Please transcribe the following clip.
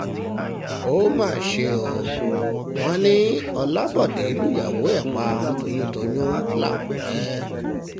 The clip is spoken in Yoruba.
ó mà ṣe o wọ́n ní ọlábòde lùyàwó ẹ̀ pa toyúntoyún làkúrẹ́